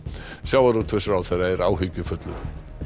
sjávarútvegsráðherra er áhyggjufullur